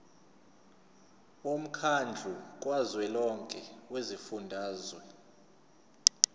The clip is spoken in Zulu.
womkhandlu kazwelonke wezifundazwe